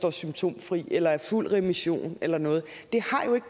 er symptomfri eller er i fuld remission eller noget det